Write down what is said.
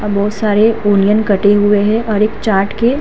यहाँ बहुत सारे अनियन कटे हुए है और एक चाट के --